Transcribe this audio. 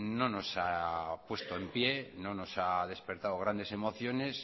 no nos ha puesto en pie no nos ha despertado grande emociones